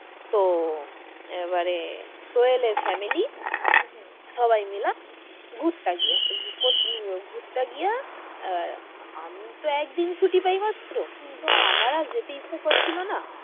তো আহ এবারে সোহেলের family হম হম সবাই মিলে ঘুরতে গিয়েছে ঘুরতে গিয়ে ক আহ আমি তো একদিন ছুটি পাই মাত্র হম হম তো আমার আর যেতে ইচ্ছা করছিল না,